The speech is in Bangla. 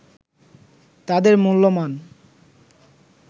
তাদের মূল্যমান